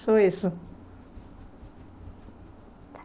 Só isso.